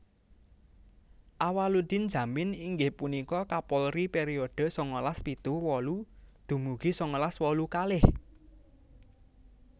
Awaloedin Djamin inggih punika Kapolri periode sangalas pitu wolu dumugi sangalas wolu kalih